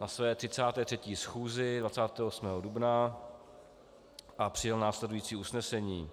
na své 33. schůzi 28. dubna a přijal následující usnesení: